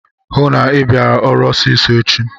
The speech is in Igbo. Hụụ na Ị bịara ọrụ ọsịsọ echi!